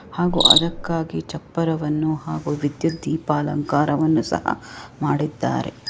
ಹಾಗು ಅದಕ್ಕಾಗಿ ಚಪ್ಪರವನ್ನು ಹಾಗು ವಿದ್ಯುತ್ ದೀಪಾಲಂಕಾರವನ್ನು ಸಹ ಮಾಡಿದ್ದಾರೆ.